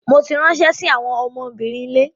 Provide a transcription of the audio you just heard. Mo ti ránṣẹ́ sí àwọn ọmọbìnrin ilé.